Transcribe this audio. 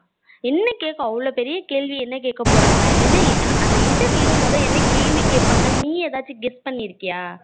என்ன கேக்க அவளோ பெரிய கேள்வி என்ன கேக்க போறாங்க என்ன அந்த interview ல முத என்ன கேள்வி கேப்பாங்கா நீ ஏதாச்சும் guess பன்னிருகயா